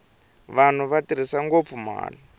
vanhu va tirhisa ngopfu mali